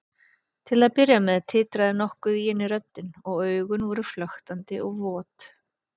Til að byrja með titraði nokkuð í henni röddin og augun voru flöktandi og vot.